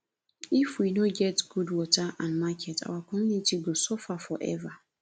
if we no get good water and market our community go suffer for ever